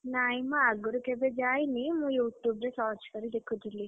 ନାଇଁ ମୁଁ ଆଗରୁ କେବେ ଯାଇନି ମୁଁ YouTube ରୁ search କରି ଦେଖୁଥିଲି।